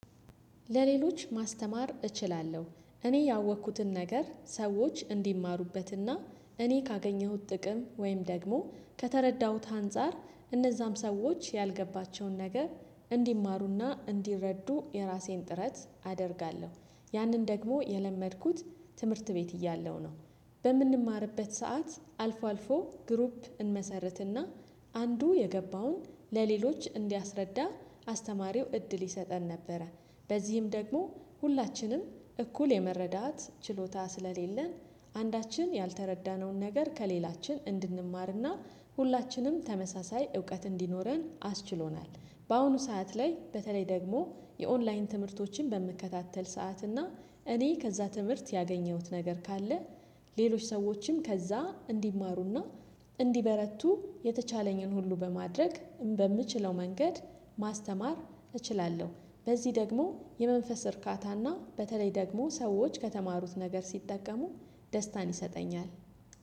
ለሌሎች ማስተማር እችላለሁ እኔ ያወኩትን ነገር ሰዎች እንዲማሩበትና እኔ ካገኘሁት ጥቅም ወይም ደግሞ ከተረዳሁት አንፃር እነዛም ሰዎች ያልገባቸውን ነገር እንዲማሩና እንዲረዱ የራሴን ጥረት አደርጋለሁ ያንን ደግሞ የለመድኩት ትምህርት ቤት እያለሁ ነው። በምንማርበት ሰዓት አልፎ አልፎ ግሩፕ እንመሰርትና አንዱ የገባውን ለሌሎች እንዲያስረዳ አስተማሪው እድል ይሰጠን ነበረ። በዚህም ደግሞ ሁላችንም እኩል የመረዳት ችሎታ ስለሌለን አንዳችን ያልተረዳነውን ነገር ከሌላችን እንድንማርና ሁላችንም ተመሳሳይ እውቀት እንዲኖረን አስችሎናል። በአሁኑ ሰዓት ላይ በተለይ ደግሞ የኦንላይን ትምህርቶችን በምከታተል ሰዓት እና እኔ ከዛ ትምህርት ያገኘሁት ነገር ካለ ሌሎች ሰዎችም ከዛ እንዲማሩና እንዲበረቱ የተቻለኝን ሁሉ በማድረግ በምችለው መንገድ ማስተማር እችላለሁ። በዚህ ደግሞ የመንፈስ እርካታና በተለይ ደግሞ ሰዎች ከተማሩት ነገር ሲጠቀሙ ደስታን ይሰጠኛል።